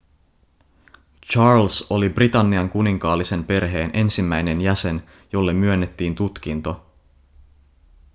charles oli britannian kuninkaallisen perheen ensimmäinen jäsen jolle myönnettiin tutkinto